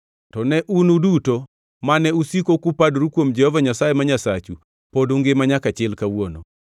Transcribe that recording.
to ne un uduto mane usiko kupadoru kuom Jehova Nyasaye ma Nyasachu pod ungima nyaka chil kawuono.